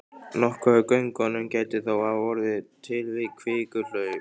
Nokkuð af göngunum gæti þó hafa orðið til við kvikuhlaup.